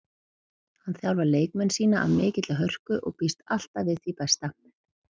Hann þjálfar leikmenn sína af mikilli hörku og býst alltaf við því besta.